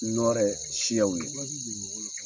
Nɔɔrɛ siyaw ye.